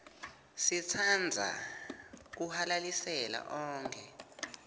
sitsandza kuhalalisela onkhe